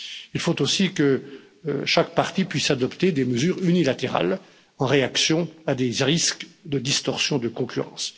Il faut aussi que chaque partie puisse adopter des mesures unilatérales en réaction à des risques de distorsion de concurrence.